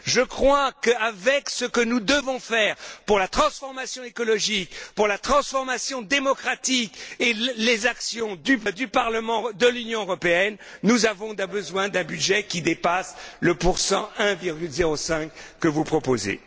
Je crois qu'avec tout ce que nous devons faire pour la transformation écologique, pour la transformation démocratique et pour les actions du Parlement de l'Union européenne, nous avons besoin d'un budget qui dépasse le pourcentage de 1,05 que vous proposez.